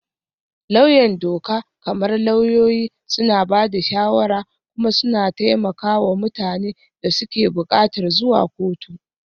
Lauyan doka, kamar lauyoyi, suna ba da shawara kuma suna taimaka wa mutanen da suke buƙatar zuwa kotu.